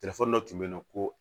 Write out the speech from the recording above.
Telefɔni dɔ tun bɛ yen nɔ ko